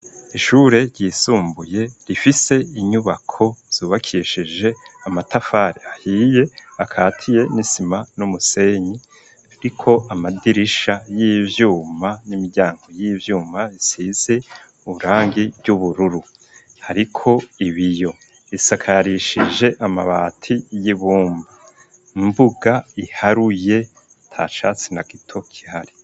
Ishure ryisumbuye rifise inyubako zubakishije amatafari ahiye akatiye n'isima n'umusenyi ririko amadirisha y'ivyuma n'imiryango y'ivyuma isizi uburangi ry'ubururu hariko ibiyo isakarishije amabati y'ibumba imbuga iharuye ntacatsi na gito gihari.